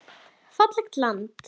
Fallegt land.